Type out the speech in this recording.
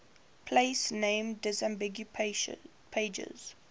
place name disambiguation pages